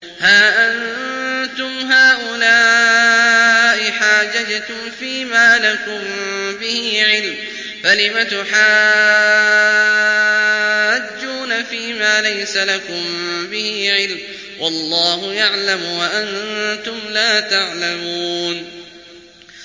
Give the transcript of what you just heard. هَا أَنتُمْ هَٰؤُلَاءِ حَاجَجْتُمْ فِيمَا لَكُم بِهِ عِلْمٌ فَلِمَ تُحَاجُّونَ فِيمَا لَيْسَ لَكُم بِهِ عِلْمٌ ۚ وَاللَّهُ يَعْلَمُ وَأَنتُمْ لَا تَعْلَمُونَ